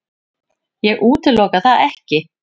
Ég útiloka það ekki.